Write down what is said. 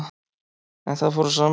En það fór á annan veg